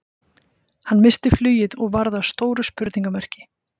Hann missti flugið og varð að stóru spurningamerki.